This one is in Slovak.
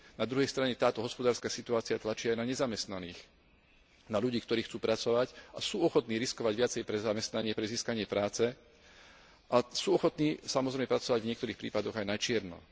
Na druhej strane táto hospodárska situácia tlačí aj na nezamestnaných, na ľudí, ktorí chcú pracovať a sú ochotní riskovať viacej pre zamestnanie, pre získanie práce a sú ochotní, samozrejme, pracovať v niektorých prípadoch aj na čierno.